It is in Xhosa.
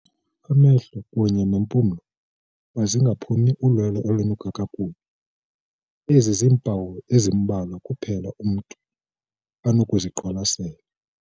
Amehlo kunye nempumlo mazingaphumi ulwelo olunuka kakubi. Ezi ziimpawu ezimbalwa kuphela umntu anokuziqwalasela.